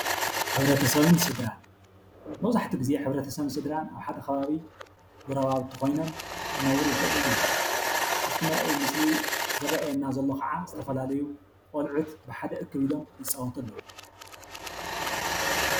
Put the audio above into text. መብዛሕትኡ ግዜ ሕብረተሰብን ስድራን አብ ሓደ ከባቢ ጎረባብቲ ኮይኖም ክነብሩ ይክእሉ እዮም፡፡ አብቲ መርአይ ምስሊ ዝርአየና ዘሎ ከዓ ዝተፈላለዩ ቆልዑት ብሓደ እክብ ኢሎም ይፃወቱ አለው፡፡